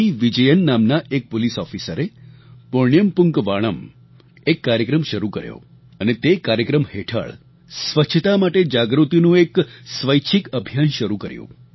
વિજયન નામના એક પોલીસ ઓફિસરે પુણ્યમ પુન્કવાણમ એક કાર્યક્રમ શરૂ કર્યો અને તે કાર્યક્રમ હેઠળ સ્વચ્છતા માટે જાગૃતિનું એક સ્વૈચ્છિક અભિયાન શરૂ કર્યું